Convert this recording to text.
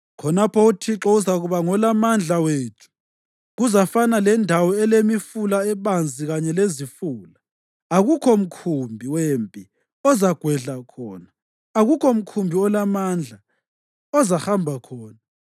Khonapho uThixo uzakuba ngolaMandla wethu. Kuzafana lendawo elemifula ebanzi kanye lezifula. Akukho mkhumbi wempi ozagwedlwa khona, akukho mkhumbi olamandla ozahamba khona.